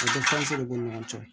b'u ni ɲɔgɔn cɛ